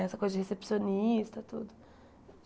Essa coisa de recepcionista, tudo.